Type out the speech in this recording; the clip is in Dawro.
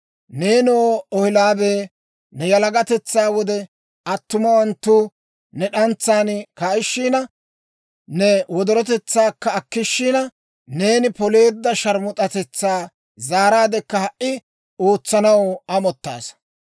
(Neenoo, Ohoolibee, ne yalagatetsaa wode, attumawanttu ne d'antsan kaa'ishina, ne wodorotetsaakka akkishina, neeni poleedda sharmus'atetsaa zaaraadekka ha"i ootsanaw amottaasa.)